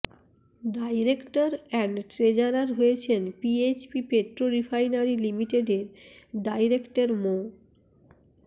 director and treasurer হয়েছেন PHP petro refinery লিমিটেডের director মো